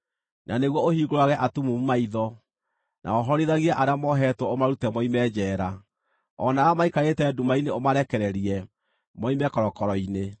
na nĩguo ũhingũrage atumumu maitho, na wohorithagie arĩa mohetwo ũmarute moime njeera, o nao arĩa maikarĩte nduma-inĩ ũmarekererie, moime korokoro-inĩ.